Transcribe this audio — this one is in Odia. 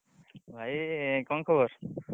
ଭାଇ କଣ ଖବର?